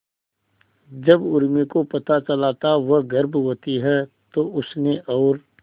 जब उर्मी को पता चला था वह गर्भवती है तो उसने और